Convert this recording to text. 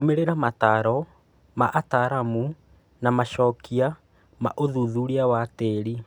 Rũmĩrĩra mataaro ma ataaramu na macokio ma ũthuthuria wa tĩĩri.